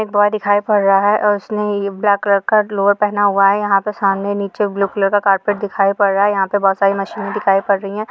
एक बॉय दिखाई पड़ रहा है और उसने ये ब्लैक कलर का लोअर पेहना हुआ है यहाँ पे सामने नीचे ब्लू कलर का कारपेट दिखाई पड़ रहा है यहाँ पे बहोत सारी मशीने दिखाई पड़ रही है।